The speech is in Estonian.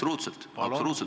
Absoluutselt protseduuriline!